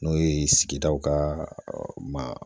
N'o ye sigidaw k'a ma